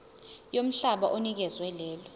yomhlaba onikezwe lelo